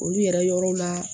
Olu yɛrɛ yɔrɔ la